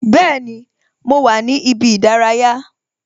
Bẹẹni, mo wà ní ibi ìdárayá